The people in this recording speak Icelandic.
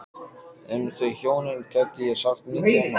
Um þau hjónin gæti ég sagt mikið og margt.